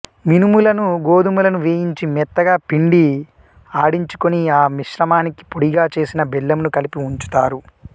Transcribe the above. మినుములను గోధుమలను వేయించి మెత్తగా పిండి ఆడించుకొని ఆ మిశ్రమానికి పొడిగా చేసిన బెల్లమును కలిపి ఉంచుతారు